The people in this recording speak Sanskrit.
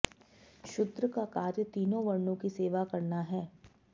शूद्र का कार्य तीनों वर्णों की सेवा करना है